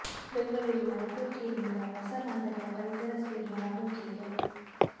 ಬೆಂಗಳೂರಿನ ಓಟೋಕೇರ್ ನಿಂದ ಹೊಸ ಮಾದರಿಯ ಪರಿಸರ ಸ್ನೇಹಿ ಆಟೋ ಕೇರ್